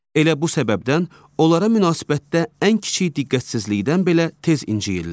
Elə bu səbəbdən onlara münasibətdə ən kiçik diqqətsizlikdən belə tez incikdirlər.